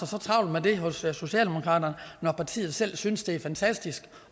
så travlt med det hos socialdemokraterne når partiet selv synes det er fantastisk